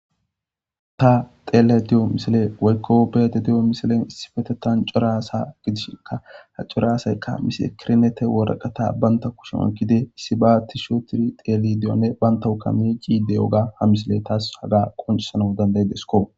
ta xeele di7o misile waykkobete di7o misilen issifetetan corasa gidishika ha coraasaykka misakirnete woraqata baynta kushumakkide issi ba tisho tiri teeli diyonne bayntawuka mi ciide woga ha misile taas haga qoncisana dandaydesko